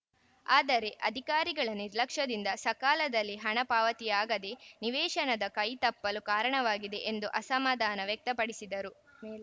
ಆದರೆ ಅಧಿಕಾರಿಗಳ ನಿರ್ಲಕ್ಷ್ಯದಿಂದ ಸಕಾಲದಲ್ಲಿ ಹಣ ಪಾವತಿಯಾಗದೇ ನಿವೇಶನದ ಕೈ ತಪ್ಪಲು ಕಾರಣವಾಗಿದೆ ಎಂದು ಅಸಮಾಧಾನ ವ್ಯಕ್ತಪಡಿಸಿದರು